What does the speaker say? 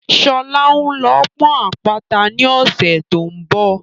Sọlá ń lọ ọ́ pọ́n àpáta ni ọ̀sẹ̀ tó ń bọ̀